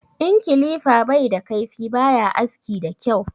In kilifa bai da kaifi baya aski da kyau